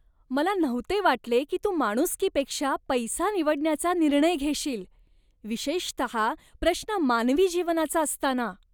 मला नव्हते वाटले की तू माणुसकीपेक्षा पैसा निवडण्याचा निर्णय घेशील, विशेषतः प्रश्न मानवी जीवनाचा असताना.